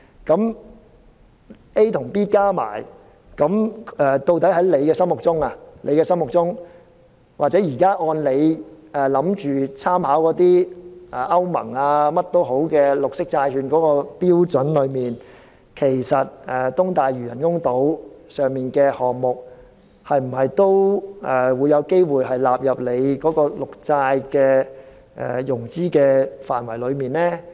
那麼 ，A 和 B 加起來，究竟在局長的心目中，又或現時按照他打算參考的歐盟或其他有關綠色債券的標準，其實東大嶼人工島上的項目是否也有機會納入綠色債券的融資範圍呢？